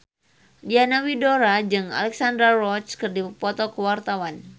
Diana Widoera jeung Alexandra Roach keur dipoto ku wartawan